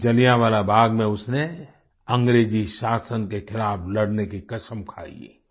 उसी जलियांवाला बाग़ में उसने अंग्रेजी शासन के खिलाफ़ लड़ने की कसम खायी